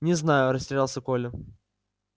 не знаю растерялся коля